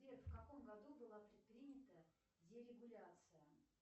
сбер в каком году была предпринята дерегуляция